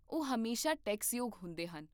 ਉਹ ਹਮੇਸ਼ਾ ਟੈਕਸਯੋਗ ਹੁੰਦੇ ਹਨ